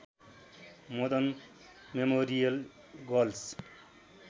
Madan memorial girls